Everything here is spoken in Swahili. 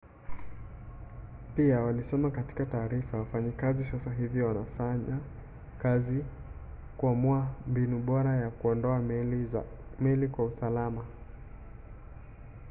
pia walisema katika taarifa wafanyakazi sasa hivi wanafanya kazi kuamua mbinu bora ya kuondoa meli kwa usalama